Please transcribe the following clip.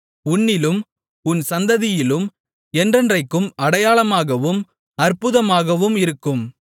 உன்னிலும் உன் சந்ததியிலும் என்றைக்கும் அடையாளமாகவும் அற்புதமாகவும் இருக்கும்